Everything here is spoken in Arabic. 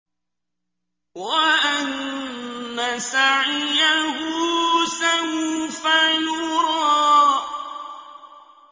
وَأَنَّ سَعْيَهُ سَوْفَ يُرَىٰ